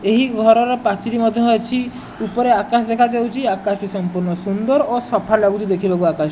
ଏହି ଘରର ପାଚେରୀ ମଧ୍ୟ ଅଛି ଉପରେ ଆକାଶ ଦେଖାଯାଉଚି ଆକାଶଟି ସମ୍ପୂର୍ଣ ସୁନ୍ଦର ଓ ସଫା ଲାଗୁଚି ଦେଖିବାକୁ ଆକାଶ।